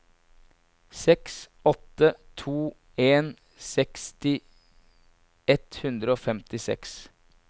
seks åtte to en seksti ett hundre og femtiseks